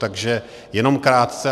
Takže jenom krátce.